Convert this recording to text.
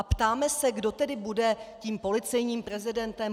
A ptáme se, kdo tedy bude tím policejním prezidentem.